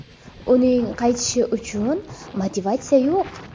Uning qaytishi uchun motivatsiya yo‘q.